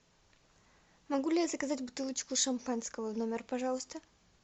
могу ли я заказать бутылочку шампанского в номер пожалуйста